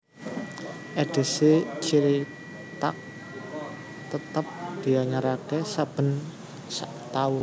Edhisi cithak tetep dianyaraké saben sak taun